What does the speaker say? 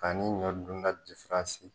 Ani ɲɔ dun ta difaransi.